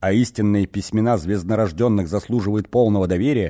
а истинные письмена звезднорожденных заслуживают полного доверия